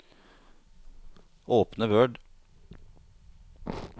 Åpne Word